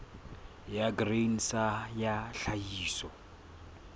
ya grain sa ya tlhahiso